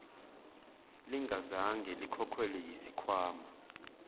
lingazange likhokhelwe yisikhwama